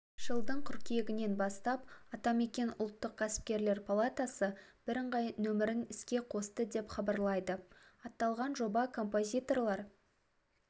жылдың қыркүйегінен бастап атамекен ұлттық кәсіпкерлер палатасы бірыңғай нөмірін іске қосты деп хабарлайды аталған жоба композиторлар